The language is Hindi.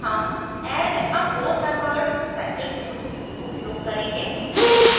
हम add a four membered cycle tool उपयोग करेंगे